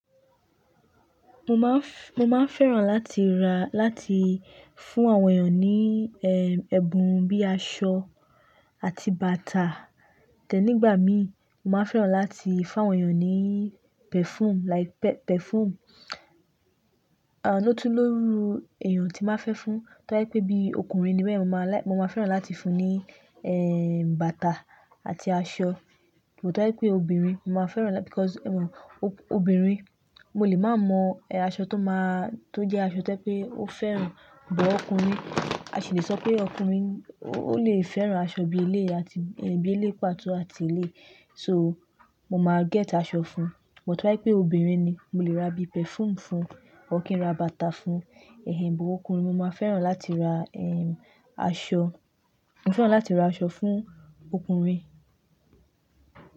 Mo ma f-- mo ma fẹ́ràn láti ra láti fún àwọn èèyàn ní, eh, ẹ̀bùn bíi aṣọ àti bàtà. Tẹ́ nígbà mí, mo ma fẹ́ràn láti fún àwọn èèyàn ní perfume like pe-perfume. Ah, lótú lórí èèyàn tí má fẹ́ fún, tó bá jẹ́ pé bí ọkùnrin ni bẹ́yen mo máa láì, mo ma fẹ́ràn láti fún ní, eh, bàtà àti aṣọ. But tó bá jẹ́ pé obìnrin, mo ma fẹ́ràn lá because, eh, obìnrin mo lè má mọ, eh, aṣọ tó máa-- tó jẹ́ aṣọ tó jẹ́ pé ó fẹ́ràn. But ọkùnrin, a sì le sọ pé ọkùnrin ó lè fẹ́ràn aṣọ bí eléyi àti, bí eléyi pàtó àti eléyi. So, mo ma get aṣọ fún. But tó bá jẹ́ pé obìnrin ni, mo lè ra bí perfume fún. Ór kí n ra bàtà fún. Eh, but ọkùnrin mo ma fẹ́ràn láti ra, eh, aṣọ. Mo fẹ́ràn láti ra aṣọ fún ọkùnrin.